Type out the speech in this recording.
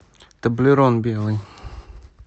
таблерон белый